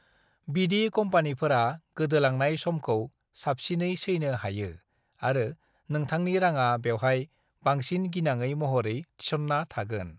बिदि कम्पेनिफोरा गोदोलांनाय समखौ साबसिनै सैनो हायो आरो नोंथांनि राङा बेवहाय बांसिन गिनाङै महरै थिसनना थागोन।